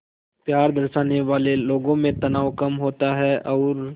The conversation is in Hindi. प्यार दर्शाने वाले लोगों में तनाव कम होता है और